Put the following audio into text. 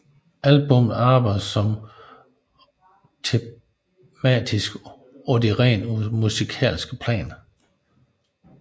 Albummet arbejder også tematisk på det rent musikalske plan